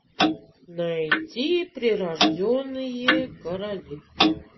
найти прирожденные короли